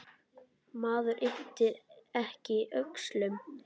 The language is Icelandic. Maður ypptir ekki öxlum.